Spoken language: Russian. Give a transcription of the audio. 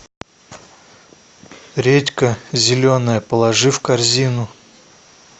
редька зеленая положи в корзину